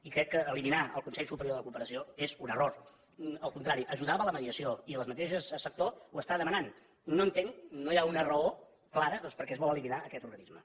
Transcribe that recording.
i crec que eliminar el consell superior de la cooperació és un error al contrari ajudava la mediació i el mateix sector ho demana no entén no hi ha una raó clara de doncs per què es vol eliminar aquest organisme